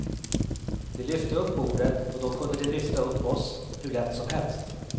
De lyfte upp bordet och då kunde de lyfta upp oss hur lätt som helst.